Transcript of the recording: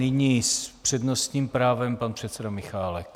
Nyní s přednostním právem pan předseda Michálek.